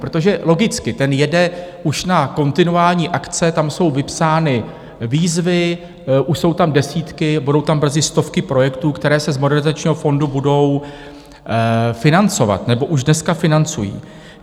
Protože logicky: ten jede už na kontinuální akce, tam jsou vypsány výzvy, už jsou tam desítky, budou tam brzy stovky projektů, které se z Modernizačního fondu budou financovat nebo už dneska financují.